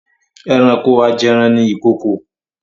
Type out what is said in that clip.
Ẹranko ajẹran ni ìkokò.